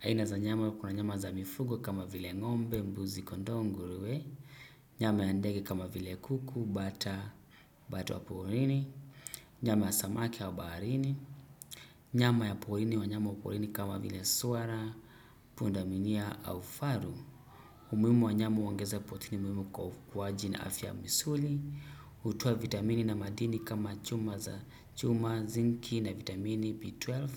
Aina za nyama kuna nyama za mifugo kama vile ng'ombe, mbuzi, kondoo, nguruwe, nyama ya ndege kama vile kuku, bata, bata wa porini, nyama ya samaki ya baharini, nyama ya porini wanyama wa porini kama vile swara, pundamilia au faru. Umuimu wa nyama uongeza protini umuimu kwa ukuwaji na afya misuli, hutoa vitamini na madini kama chuma za chuma zinki na vitamini B12,